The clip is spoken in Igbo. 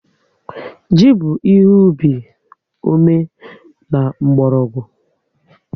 Ji bụ ihe ubi ome and mkpọrọgwụ